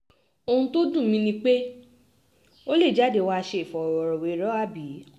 ohun tó dùn mí ni pé ó lè jáde wàá ṣe ìfọ̀rọ̀wérọ̀ àbí